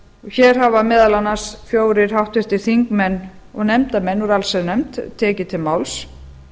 hér hafa meðal annars fjórir háttvirtir þingmenn og nefndarmenn úr allsherjarnefnd tekið til máls